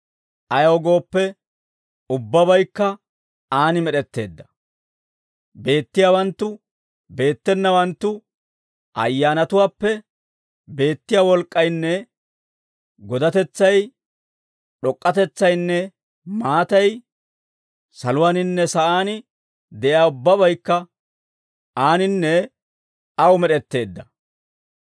Ayaw gooppe, ubbabaykka aan med'etteedda; beettiyaawanttu, beettenawanttu, ayyaanatuwaappe beettiyaa wolk'k'aynne godatetsay, d'ok'k'atetsaynne maatay, saluwaaninne sa'aan de'iyaa ubbabaykka Aaninne Aw med'etteedda.